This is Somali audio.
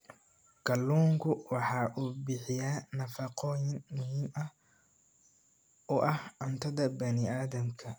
Kalluunku waxa uu bixiyaa nafaqooyin muhiim u ah cuntada bani aadamka.